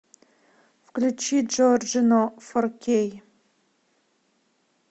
включи джорджино фор кей